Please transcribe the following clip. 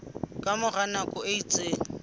ka mora nako e itseng